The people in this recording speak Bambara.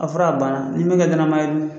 A fɔra a bana ni min kɛ danamaa ye dun